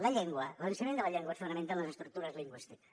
la llengua l’ensenyament de la llengua es fonamenta en les estructures lingüístiques